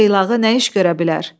Qız xeylağı nə iş görə bilər?